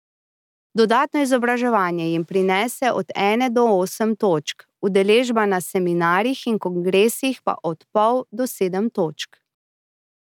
Dodatno izobraževanje jim prinese od ene do osem točk, udeležba na seminarjih in kongresih pa od pol do sedem točk.